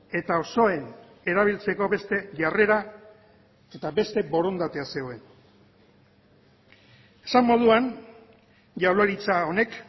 eta osoen erabiltzeko beste jarrera eta beste borondatea zegoen esan moduan jaurlaritza honek